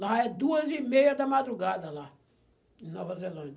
Lá é duas e meia da madrugada, lá, em Nova Zelândia.